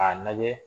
A lajɛ